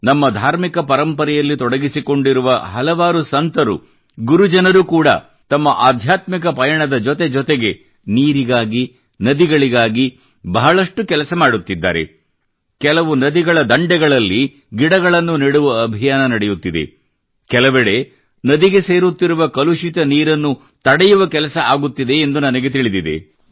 ನಮ್ಮ ಧಾರ್ಮಿಕ ಪರಂಪರೆಯಲ್ಲಿ ತೊಡಗಿಸಿಕೊಂಡಿರುವ ಹಲವಾರು ಸಂತರು ಗುರುಜನರು ಕೂಡ ತಮ್ಮ ಅಧ್ಯಾತ್ಮಿಕ ಪಯಣದ ಜೊತೆಜೊತೆಗೆ ನೀರಿಗಾಗಿ ನದಿಗಳಿಗಾಗಿ ಬಹಳಷ್ಟು ಕೆಲಸ ಮಾಡುತ್ತಿದ್ದಾರೆ ಕೆಲವು ನದಿಗಳ ದಂಡೆಗಳಲ್ಲಿ ಗಿಡಗಳನ್ನು ನೆಡುವ ಅಭಿಯಾನ ನಡೆಯುತ್ತಿದೆ ಕೆಲವೆಡೆ ನದಿಗೆ ಸೇರುತ್ತಿರುವ ಕಲುಷಿತ ನೀರನ್ನು ತಡೆಯುವ ಕೆಲಸ ಆಗುತ್ತಿದೆ ಎಂದು ನನಗೆ ತಿಳಿದಿದೆ